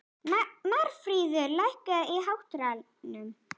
Marfríður, lækkaðu í hátalaranum.